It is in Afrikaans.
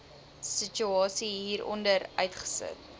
situasie hieronder uiteengesit